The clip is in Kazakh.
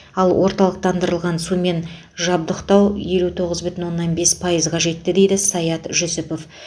ал орталықтандырылған сумен жабдықтау елу тоғыз бүтін оннан бес пайызға жетті дейді саят жүсіпов